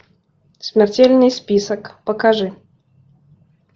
смертельный список покажи